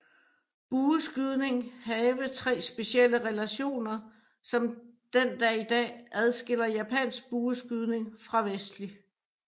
Bueskydning have tre specielle relationer som den dag i dag adskiller japansk bueskydning fra vestlig